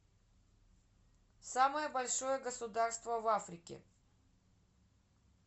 самое большое государство в африке